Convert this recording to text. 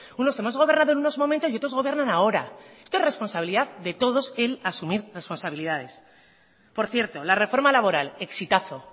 unos hemos gobernado en unos momentos y otros gobiernan ahora esto es responsabilidad de todos el asumir responsabilidades por cierto la reforma laboral exitazo